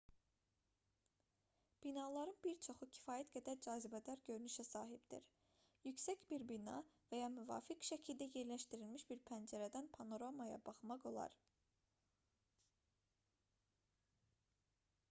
binaların bir çoxu kifayət qədər cazibədar görünüşə sahibdir yüksək bir bina və ya müvafiq şəkildə yerləşdirilmiş bir pəncərədən panoramaya baxmaq olar